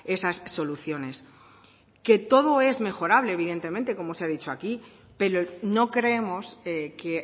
esas soluciones que todo es mejorable evidentemente como se ha dicho aquí pero no creemos que